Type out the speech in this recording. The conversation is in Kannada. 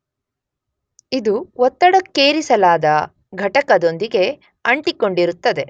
ಇದು ಒತ್ತಡಕ್ಕೇರಿಸಲಾದ ಘಟಕದೊಂದಿಗೆ ಅಂಟಿಕೊಂಡಿರುತ್ತದೆ.